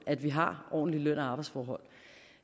at vi har ordentlige løn og arbejdsforhold